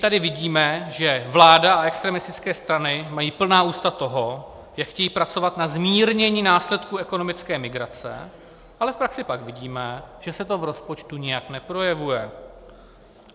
Tady vidíme, že vláda a extremistické strany mají plná ústa toho, jak chtějí pracovat na zmírnění následků ekonomické migrace, ale v praxi pak vidíme, že se to v rozpočtu nijak neprojevuje.